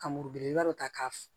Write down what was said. Ka muru belebeleba dɔ ta k'a f